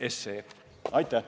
Aitäh!